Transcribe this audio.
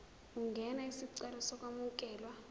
ungenza isicelo sokwamukelwa